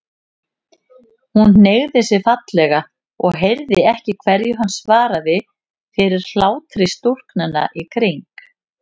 Hún hneigði sig fallega og heyrði ekki hverju hann svaraði fyrir hlátri stúlknanna í kring.